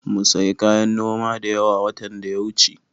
Mum sayi kayan noma da yawa, watan da ya wuce.